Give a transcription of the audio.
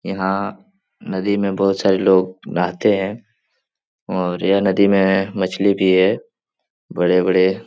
यहाँ नदी में बहोत सारे लोग नहाते हैं और यह नदी में मछली भी है बड़े-बड़े --